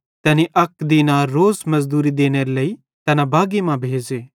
तैनी अक दीनार रोज़ मुजुरी देनेरे लेइ तैना बागी मां भेज़े